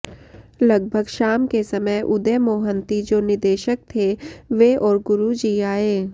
लगभग शाम के समय उदय मोहन्ती जो निदेशक थे वे और गुरू जी आये